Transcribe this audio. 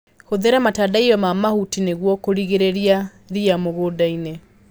Hũthĩra matandaiyo ma mahuti nĩguo kũrigĩrĩria ria mũgundainĩ.